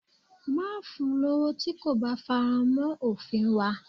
Má fun lowo tí kò bá faramọ́ òfin wa.